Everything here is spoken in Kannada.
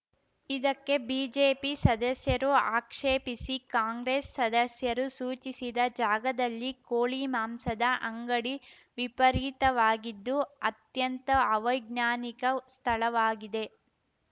ಇದಕ್ಕೆ ಬಿಜೆಪಿ ಸದಸ್ಯರು ಆಕ್ಷೇಪಿಸಿ ಕಾಂಗ್ರೆಸ್‌ ಸದಸ್ಯರು ಸೂಚಿಸಿದ ಜಾಗದಲ್ಲಿ ಕೋಳಿ ಮಾಂಸದ ಅಂಗಡಿ ವಿಪರೀತವಾಗಿದ್ದು ಅತ್ಯಂತ ಅವೈಜ್ಞಾನಿಕ ಸ್ಥಳವಾಗಿದೆ